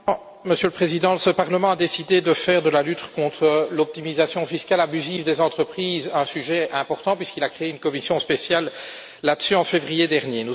Monsieur le Président, ce Parlement a décidé de faire de la lutte contre l'optimisation fiscale abusive des entreprises un sujet important puisqu'il a créé une commission spéciale chargée de cette question en février dernier.